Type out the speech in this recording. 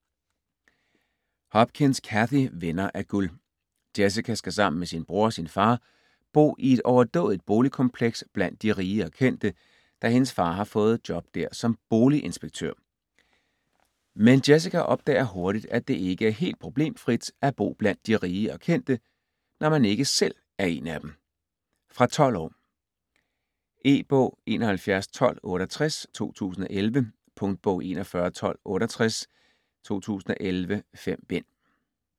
Hopkins, Cathy: Venner af guld Jessica skal sammen med sin bror og far bo i et overdådigt boligkompleks blandt de rige og kendte, da hendes far har fået job der som boliginspektør. Men Jessica opdager hurtigt, at det ikke er helt problemfrit at bo blandt de rige og kendte, når man ikke selv er en af dem. Fra 12 år. E-bog 711268 2011. Punktbog 411268 2011. 5 bind.